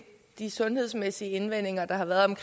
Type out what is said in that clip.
de sundhedsmæssige indvendinger der har været